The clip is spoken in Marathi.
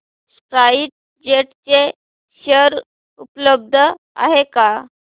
स्पाइस जेट चे शेअर उपलब्ध आहेत का